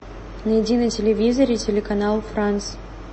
найди на телевизоре телеканал франс